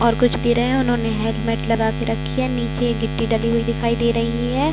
और कुछ हैं उन्होंने हेलमेट लगा के रखी है निचे गिट्टी डली हुयी दिखाई दे रही है।